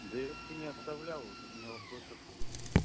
да я вообще не оставлял вот у меня вопрос откуда